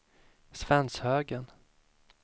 Svenshögen